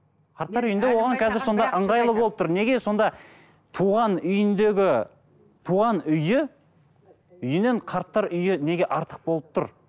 қарттар үйінде оған қазір сонда ыңғайлы болып тұр неге сонда туған үйіндегі туған үйі үйінен қарттар үйі неге артық болып тұр